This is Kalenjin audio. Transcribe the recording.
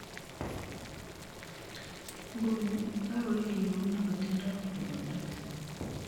Nguni, kokoib bik kou nematindoi kwondo.